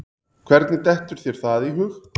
Hvernig dettur þér það í hug?